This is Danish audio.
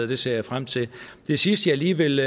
det ser jeg frem til det sidste jeg lige vil